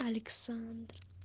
александр